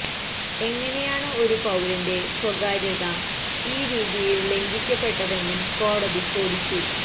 എങ്ങനെയാണ് ഒരു പൌരന്റെ സ്വകാര്യത ഈ രീതിയില് ലംഘിക്കപ്പെട്ടതെന്നും കോടതി ചോദിച്ചു